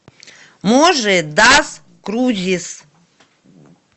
можи дас крузис